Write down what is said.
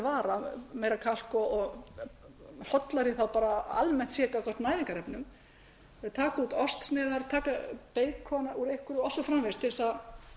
vara meira kalk og hollara þá almennt séð gagnvart næringarefnum þau taka út ostsneiðar taka út beikon úr einhverju og svo framvegis til að